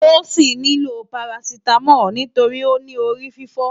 Tosin ni ló párásitámòl nitóri óni órififò